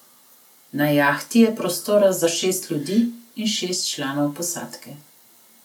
Na jahti je prostora za šest ljudi in šest članov posadke.